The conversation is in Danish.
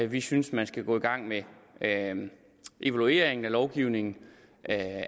vi synes man skal gå i gang med evalueringen af lovgivningen